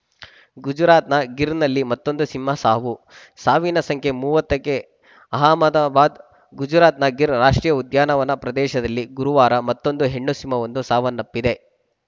ಗುಜರಾತ್‌ನ ಗಿರ್‌ನಲ್ಲಿ ಮತ್ತೊಂದು ಸಿಂಹ ಸಾವು ಸಾವಿನ ಸಂಖ್ಯೆ ಮೂವತ್ತಕ್ಕೆ ಅಹಮದಾಬಾದ್‌ ಗುಜರಾತ್‌ನ ಗಿರ್‌ ರಾಷ್ಟ್ರೀಯ ಉದ್ಯಾನವನ ಪ್ರದೇಶದಲ್ಲಿ ಗುರುವಾರ ಮತ್ತೊಂದು ಹೆಣ್ಣು ಸಿಂಹವೊಂದು ಸಾವನ್ನಪ್ಪಿದೆ